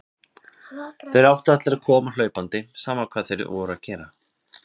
Þá áttu allir að koma hlaupandi, sama hvað þeir voru að gera.